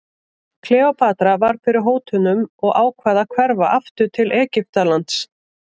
Kleópatra varð fyrir hótunum og ákvað að hverfa aftur til Egyptalands.